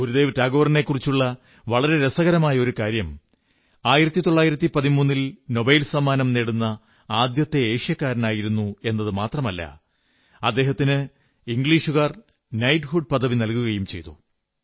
ഗുരുദേവ് ടാഗോറിനെക്കുറിച്ചുള്ള വളരെ രസകരമായ ഒരു കാര്യം 1913 ൽ നോബൽ സമ്മാനം നേടുന്ന ആദ്യത്തെ ഏഷ്യക്കാരനായിരുന്നു എന്നതു മാത്രമല്ല അദ്ദേഹത്തിന് ഇംഗ്ലീഷുകാർ നൈറ്റ്ഹുഡ് പദവി നല്കുകയും ചെയ്തു